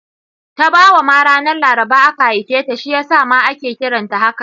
Tabawa ma ranar Laraba aka haife ta, shi ya sa ma ake kiranta hakan